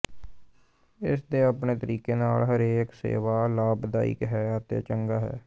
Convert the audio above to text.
ਇਸ ਦੇ ਆਪਣੇ ਤਰੀਕੇ ਨਾਲ ਹਰੇਕ ਸੇਵਾ ਲਾਭਦਾਇਕ ਹੈ ਅਤੇ ਚੰਗਾ ਹੈ